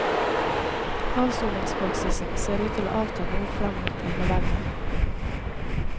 Avsoningspraksisen ser ut til å avta noe frem mot eneveldet.